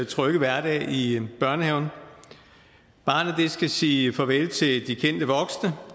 trygge hverdag i børnehaven barnet skal sige farvel til de kendte voksne